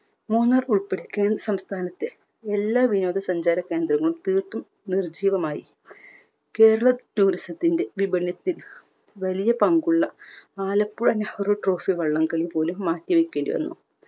മൂന്നാർ ഉൾപ്പടെ കേരളം സംസ്ഥാനത്തെ എല്ലാ വിനോദ സഞ്ചാര കേന്ദ്രങ്ങളും തീർത്തും നിർജീവമായി. കേരളം tourism ത്തിൻറെ വിഭിന്നത്തിൽ വലിയ പങ്കുള്ള ആലപ്പുഴ നെഹ്‌റു trophy വള്ളം കളി പോലും മാറ്റിവെക്കേണ്ടി വന്നു.